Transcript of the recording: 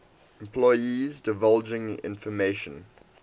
employees divulging information